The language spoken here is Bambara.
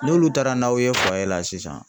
N'olu taara n'aw ye la sisan